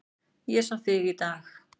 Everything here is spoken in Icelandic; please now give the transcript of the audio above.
Ég sá þig í dag